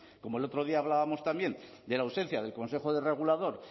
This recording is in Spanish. como el otro día hablábamos también de la ausencia del consejo regulador